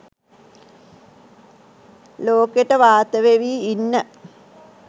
ලෝකෙට වාත වෙවී ඉන්න